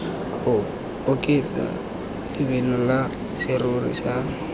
oketsa lebelo la serori sa